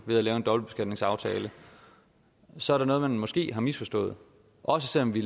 ved at lave en dobbeltbeskatningsaftale så er der noget man måske har misforstået også selv om vi